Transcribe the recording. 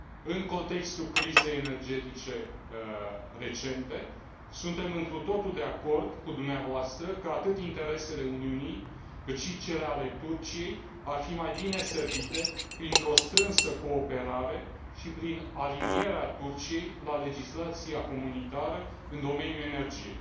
În contextul crizei energetice recente, suntem întru totul de acord cu dumneavoastră că atât interesele Uniunii, cât și cele ale Turciei, ar fi mai bine servite printr o strânsă cooperare și prin alinierea Turciei la legislația comunitară în domeniul energiei.